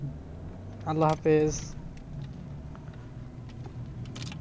আল্লাহ হাফিজ।